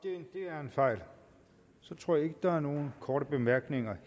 er en fejl så tror jeg ikke der er nogen korte bemærkninger